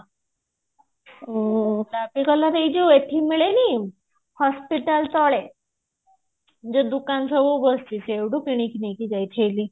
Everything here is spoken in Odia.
ଉଁ ଯୋଉ ଏଠି ମିଳେନି hospital ତଳେ ଯୋଉ ଦୁକନ ସବୁ ବସିଛି ସେଇଠୁ କିଣିକି ନେଇକି ଯାଇଥିଲି